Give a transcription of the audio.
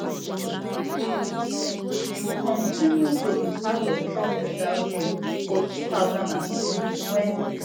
she kontinu to be part of trump legal team for two thousand and twenty wen